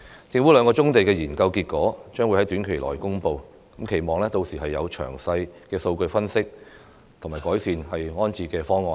政府兩項棕地研究結果將會在短期內公布，期望屆時有詳細的數據分析及完善的安置方案。